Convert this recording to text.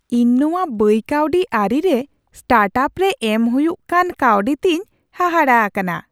ᱤᱧ ᱱᱚᱶᱟ ᱵᱟᱹᱭ ᱠᱟᱹᱣᱰᱤ ᱟᱹᱨᱤ ᱨᱮ ᱥᱴᱟᱨᱴᱟᱯ ᱨᱮ ᱮᱢ ᱦᱩᱭᱩᱜ ᱠᱟᱱ ᱠᱟᱹᱣᱰᱤ ᱛᱮᱧ ᱦᱟᱦᱟᱲᱟ ᱟᱠᱟᱱᱟ ᱾